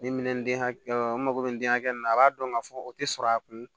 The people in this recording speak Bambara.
Ni minɛn den hakɛ n mago bɛ min hakɛ min na a b'a dɔn k'a fɔ o tɛ sɔrɔ a kun